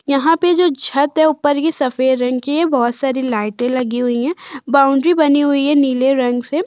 यहां पे जो छत है ऊपर ये सफेद रंग की है। बोहोत सारी लाइटें लगी हुई हैं। बाउंड्री बनी हुई है नीले रंग से।